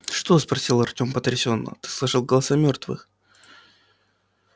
что спросил артём потрясённо ты слышал голоса мёртвых